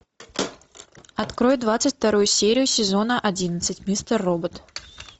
открой двадцать вторую серию сезона одиннадцать мистер робот